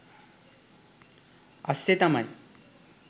අස්සෙ තමයි